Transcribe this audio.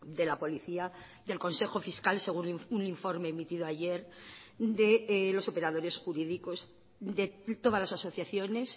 de la policía del consejo fiscal según un informe emitido ayer de los operadores jurídicos de todas las asociaciones